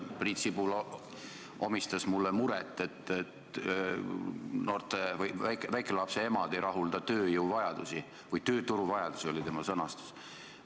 Priit Sibul omistas mulle muret, et väikelapse emad ei rahulda tööjõuvajadusi või tööturuvajadusi, nii oli tema sõnastus.